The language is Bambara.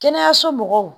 Kɛnɛyaso mɔgɔw